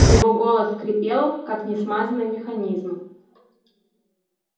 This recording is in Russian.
его голос скрипел как не смазанный механизм